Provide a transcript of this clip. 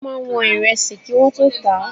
Wọ́n máa ń wọn Ìrẹsì kí wọ́n tó tà á.